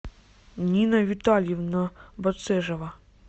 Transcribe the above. нина витальевна бацежева